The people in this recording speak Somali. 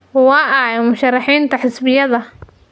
Waa ayo musharaxiinta xisbiyada?